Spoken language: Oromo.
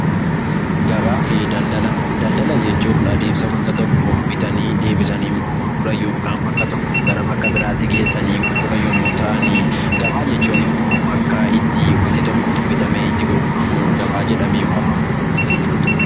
Daldala jechuun adeemsa waanta tokko bitanii deebisanii immoo gurguran yookaan bakka tokkoo gara bakka biraatti geessanii gurguran yommuu ta'an, gabaa jechuun immoo bakka itti waanti tokko bitamee itti gurguramu gabaa jedhamee waamama.